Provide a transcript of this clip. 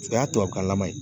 O y'a tubabukanlaman ye